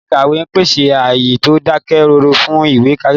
Ilé ìkàwé ń pèsè ààyè tó dákẹ́ rọ́rọ́ fún ìwé kíkà